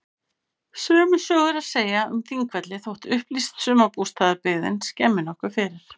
Sömu sögu er að segja um Þingvelli þótt upplýst sumarbústaðabyggðin skemmi nokkuð fyrir.